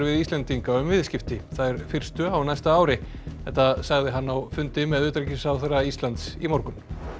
Íslendinga um viðskipti þær fyrstu á næsta ári þetta sagði hann á fundi með utanríkisráðherra Íslands í morgun